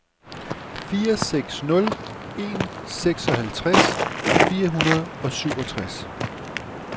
fire seks nul en seksoghalvtreds fire hundrede og syvogtres